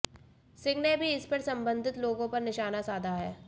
सिंह ने भी इस पर संबंधित लोगों पर निशाना साधा है